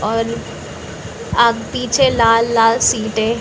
और आ पीछे लाल-लाल सीटें --